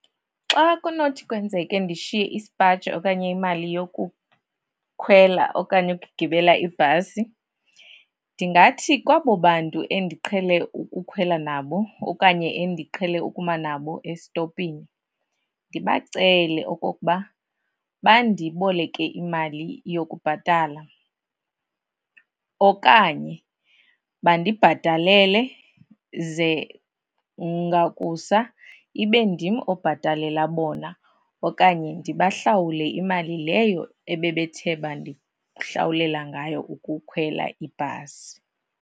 Xa kunothi kwenzeke ndishiye isipaji okanye imali yokukhwela okanye ukugibela ibhasi, ndingathi kwabo bantu endiqhele ukukhwela nabo okanye endiqhele ukuma nabo esitopini, ndibacele okokuba bandiboleke imali yokubhatala. Okanye bandibhatalele ze ngakusa ibe ndim obhatalela bona okanye ndibahlawule imali leyo ebebethe bandihlawulela ngayo ukukhwela ibhasi.